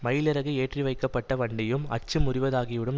மயிலிறகு ஏற்றி வைக்கப்பட்ட வண்டியும் அச்சு முறிவதாகிவிடும்